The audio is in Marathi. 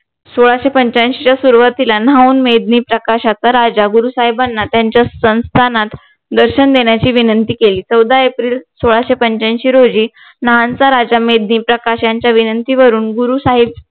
सोळाशे पंच्यांशीच्या सुरवातीला न्हाहून मेघदीप प्रकाशाचा राजा गुरु साहेबांना त्यांच्या संस्थानात दर्शन देण्याची विनंती केली चवदा एप्रिल सोळाशे पंच्यांशी रोजी नाहनचा राजा मेघदीप प्रकाश यांच्या विनंतीवरून गुरु साहेब